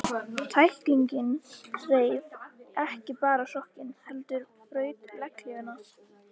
Tæklingin reif ekki bara sokkinn, heldur braut legghlífina.